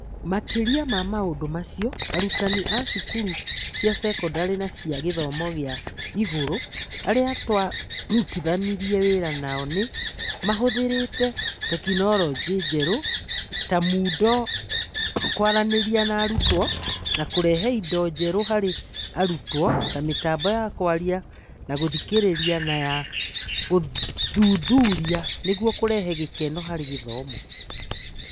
Makĩria ma maũndũ macio, arutani a cukuru cia sekondarĩ na cia gĩthomo gĩa igũrũ arĩa twarutithanirie wĩra nao nĩ mahũthĩrĩte tekinoronjĩ njerũ ta Moodle kwaranĩria na arutwo na kũrehe indo njerũ harĩ arutwo (ta mĩtambo ya kwaria na gũthikĩrĩria na ya gũthuthuria) nĩguo kũrehe gĩkeno harĩ gĩthomo.